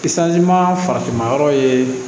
Kisali ma farafinna yɔrɔ ye